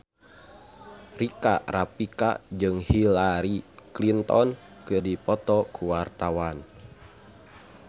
Rika Rafika jeung Hillary Clinton keur dipoto ku wartawan